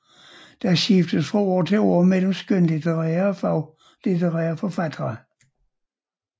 Der skiftes fra år til år mellem skønlitterære og faglitterære forfattere